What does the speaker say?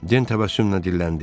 Den təbəssümlə dilləndi.